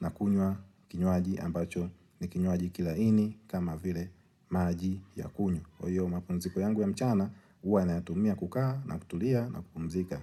na kunywa kinywaji ambacho ni kinywaji kilaini kama vile maji ya kunywa. Kwa hiyo mapumziko yangu ya mchana huwa nayatumia kukaa na kutulia na kupumzika.